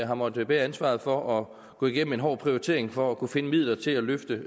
har måttet bære ansvaret for at gå igennem en hård prioritering for at kunne finde midler til at løfte